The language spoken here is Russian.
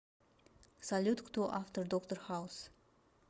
салют кто автор доктор хаус